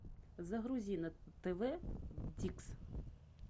загрузи на тв дикс